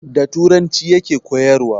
Da turanci ya ke koyarwa